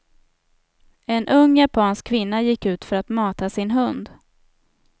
En ung japansk kvinna gick ut för att mata sin hund.